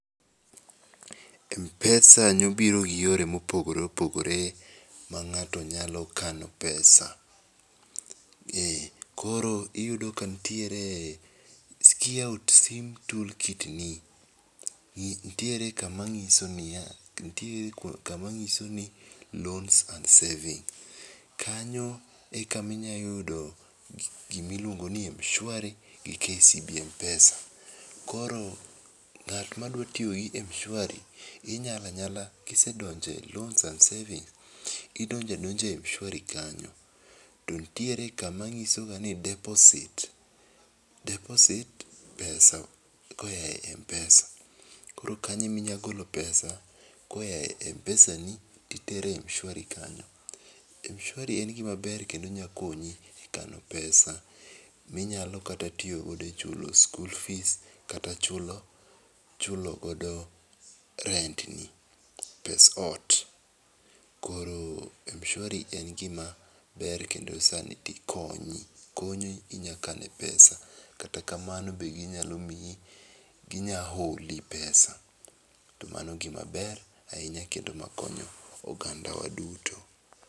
Mpesa ne obiro gi yore ma opogore opogore ma ng'ato nya kano e pesa koro iyudo ka nitiere ki iyawo sim tool kit ni nitiere ka ma ng'iso ni ya, nitiere kama ng'iso ni loans and savings kanyo e ka ma inya yudo gi ma iluongo ni mshwari gi kcb mpesa koro ngat ma dwa tiyo gi mshwari inyala nyala ki isedonje e loans and savings idonjo adonja e mshwari kano to nitiere ka ma ng'iso ga ni deposit , deposit pesa ka oa e mpesa koro kanyo e ma inyalo go,o e pesa koa e mpesa ni to itere mshwari kanyo. Mshwari en gi ma ber kendo nya konyi e kano pesa mi inyalo kata tiyo go ti ichulo skul fees kata ichulo godo rent ni pes ot koro mshwari en gi ma ber kendo sani dhi konyi konyi inya kane pesa kata kamao be gi nya miyi gi nya oli pesa to mano gi maber ahinya kedo ma konyo ogandawa duto.